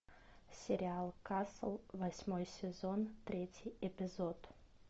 сериал касл восьмой сезон третий эпизод